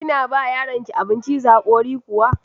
Kina ba yaronki abin ciza hakori kuwa?